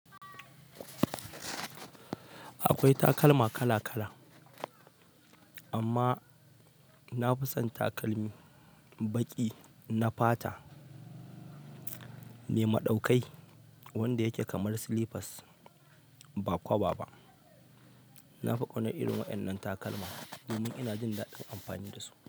Akwai takalma kala kala, amma na fi son takalmi baƙi na fata, nema ɗaukai wanda yake kamar slippers ba kwaba ba. Na fi ƙaunar irin waɗannan takalma domin ina jin daɗin amfani da su.